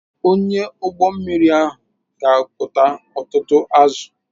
Onye ụgbọ mmiri ahụ ga akụta ọtụtụ azụ̀.